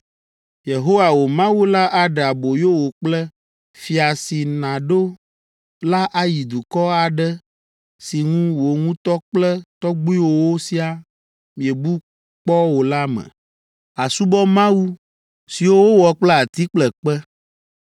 “Yehowa, wò Mawu la aɖe aboyo wò kple fia si nàɖo la ayi dukɔ aɖe si ŋu wò ŋutɔ kple tɔgbuiwòwo siaa miebu kpɔ o la me, àsubɔ mawu siwo wowɔ kple ati kple kpe.